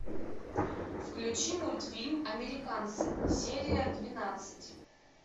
включи мультфильм американцы серия двенадцать